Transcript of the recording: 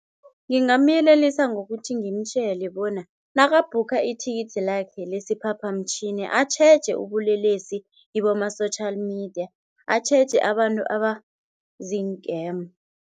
Ngingamyelelisa ngokuthi ngimtjele bona nakabhukha ithikithi lakhe lesi phaphamtjhini atjheje ubulelesi kiboma-social media, atjheje abantu abaziinkemu.